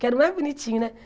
Que era o mais bonitinho, né?